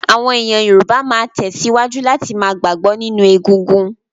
Àwọn èèyàn Yorùbá máa tẹ̀síwájú láti ma gbàgbọ́ nínú egungun